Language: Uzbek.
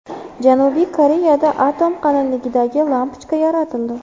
Janubiy Koreyada atom qalinligidagi lampochka yaratildi.